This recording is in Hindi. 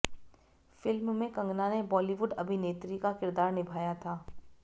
फिल्म में कंगना ने बॉलीवुड अभिनेत्री का किरदार निभाया था